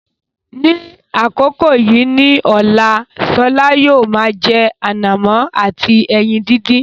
Ní àkókò yìí ní ọ̀la, Shola yóò máa jẹ ànàmọ́ àti ẹyin dídì.